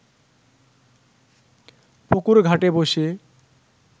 পুকুর ঘাটে বসে